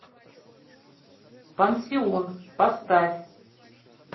пансион поставь